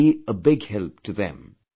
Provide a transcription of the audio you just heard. This will be a big help to them